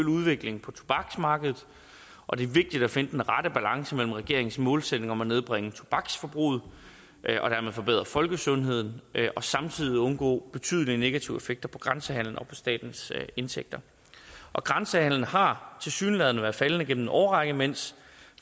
udviklingen på tobaksmarkedet og det er vigtigt at finde den rette balance mellem regeringens målsætning om at nedbringe tobaksforbruget og dermed forbedre folkesundheden og samtidig undgå betydelige negative effekter på grænsehandelen og på statens indtægter og grænsehandelen har tilsyneladende været faldende igennem en årrække mens